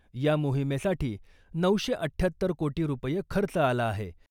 या मोहिमेसाठी नऊशे अठ्ठ्याहत्तर कोटी रूपये खर्च आला आहे.